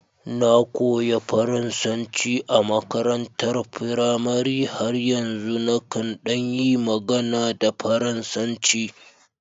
Na koyi Faransanci a makarantar firamare, har yanzu nakan ɗan yi magana da Faransanci